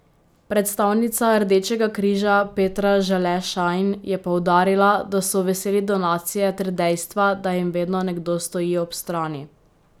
Predstavnica Rdečega križa Petra Žele Šajn je poudarila, da so veseli donacije ter dejstva, da jim vedno nekdo stoji ob strani.